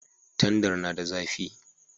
Tandar na da zafi